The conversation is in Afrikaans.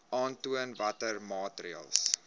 aantoon watter maatreëls